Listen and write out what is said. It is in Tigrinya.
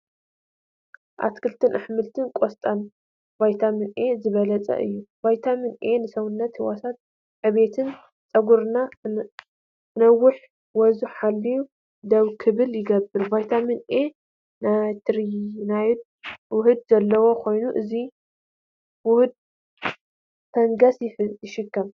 ኣትክልትን ኣሕምልትን፡- ቆስጣ በቪታሚን ኤ ዝበልፀገ እዩ:: ቪታሚን ኤ ንሰውነት ህዋሳት ዕብየት ፣ ፀጉርና ክነውሕ ወዙ ሓልዩ ደው ክብል ይገብር:: ቪታሚን ኤ ናይሪቲኖይድ ውህድ ዘለዎ ኮይኑ እዚ ውህድ ፈንገስ ይሕክም፡፡